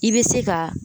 I bɛ se ka